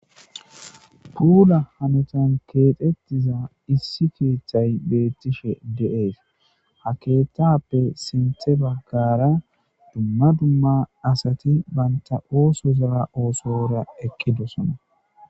Kulla haontan kexxetiza Issi keththayi bettishe de'es ha keththappe sinththa baggara duma duma asati bantta ossozara ossora eqqidoosona.